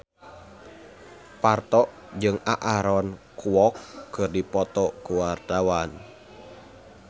Parto jeung Aaron Kwok keur dipoto ku wartawan